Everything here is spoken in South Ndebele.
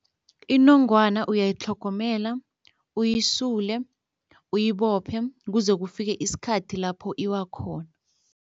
Inongwana uyayitlhogomela, uyisule, uyibophe kuze kufike isikhathi lapho iwa khona.